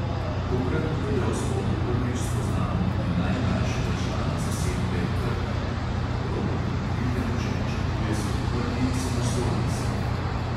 Tokrat v videospotu prvič spoznamo tudi najmlajšega člana zasedbe krta, ki pod rokovim okriljem že načrtuje svoj prvi samostojni singel.